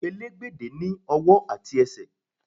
Elégbédé ní ọwọ́ àti ẹsẹ̀.